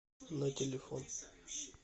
на телефон